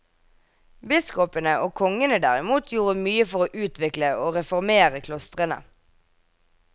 Biskopene og kongene derimot gjorde mye for å utvikle og reformere klostrene.